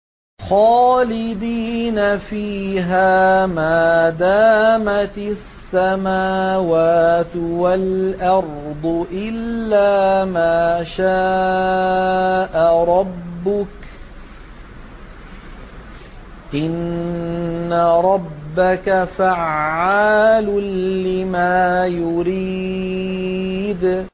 خَالِدِينَ فِيهَا مَا دَامَتِ السَّمَاوَاتُ وَالْأَرْضُ إِلَّا مَا شَاءَ رَبُّكَ ۚ إِنَّ رَبَّكَ فَعَّالٌ لِّمَا يُرِيدُ